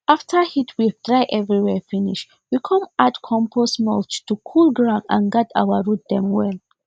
after heatwave dry everywhere finish we come add compost mulch to cool ground and guard our root dem well